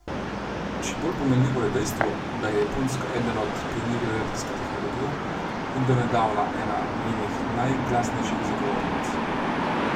Še bolj pomenljivo je dejstvo, da je Japonska eden od pionirjev jedrske tehnologije in do nedavna ena njenih najglasnejših zagovornic.